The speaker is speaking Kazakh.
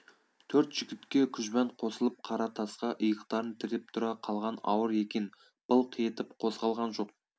төрт жігітке күжбан қосылып қара тасқа иықтарын тіреп тұра қалған ауыр екен былқ етіп қозғалған жоқ